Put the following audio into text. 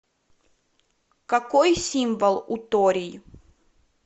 какой символ у торий